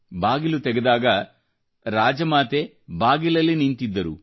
ಬಾಗಿಲು ತೆಗೆದಾಗ ರಾಜಮಾತೆ ಸಹ ಬಾಗಿಲ ಮುಂದೆ ನಿಂತಿದ್ದರು